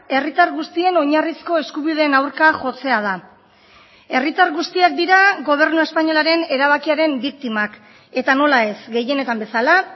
herritar guztien oinarrizko eskubideen aurka jotzea da herritar guztiak dira gobernu espainolaren erabakiaren biktimak eta nola ez gehienetan bezala